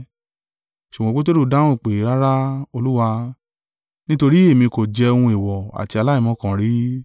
Ṣùgbọ́n Peteru dáhùn pé, “Rara, Olúwa; nítorí èmi kò jẹ ohun èèwọ̀ àti aláìmọ́ kan rí.”